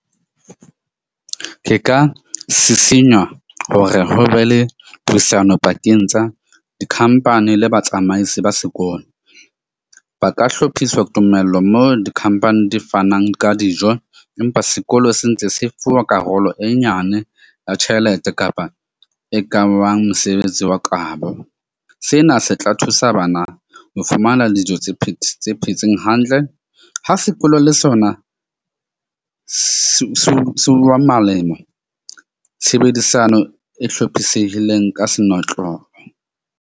Ke ka sisinya hore ho be le puisano pakeng tsa di-company le batsamaisi ba sekolo, ba ka hlophiswa tumello mo di-company di fanang ka dijo. Empa sekolo se ntse se fuwa karolo e nyane ya tjhelete kapa e kabang mosebetsi wa kabo. Sena se tla thusa bana ho fumana dijo tse phetseng hantle ha sekolo, le sona seo se wa malemo. Tshebedisano e hlophisehileng ka senotlolo.